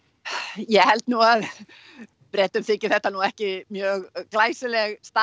ég held nú að Bretum þyki þetta nú ekki mjög glæsileg staða